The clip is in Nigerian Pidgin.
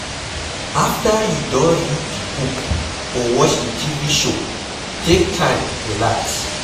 After you don read di book or watch di TV show, take time relax